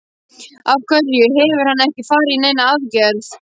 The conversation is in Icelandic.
Af hverju hefur hann ekki farið í neina aðgerð?